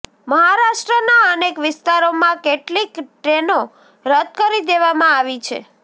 મહારાષ્ટ્રના અનેક વિસ્તારોમાં કેટલીક ટ્રેનો રદ કરી દેવામાં આવી છે